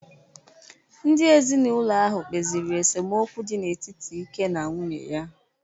Ndị ezinaụlọ ahụ kpesiri esemokwu dị n’etiti Ike na nwunye ya